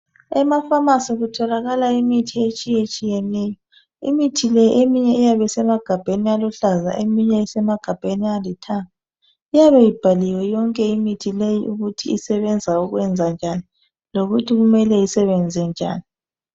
Emafamasi kutholakala imithi etshiyetshiyeneyo, imithi le eminye iyabe isemagabheni aluhlaza eminye isemagabheni alithanga. Iyabe ibhaliwe yonke imithi leyi ukuthi isebenza ukwenzanjani lokuthi kumele isebenze njani.